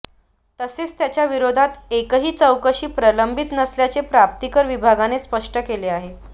तसेच त्यांच्या विरोधात एकही चौकशी प्रलंबित नसल्याचे प्राप्तीकर विभागाने स्पष्ट केले आहे